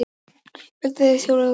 Gæsluvarðhald vegna þjófnaða staðfest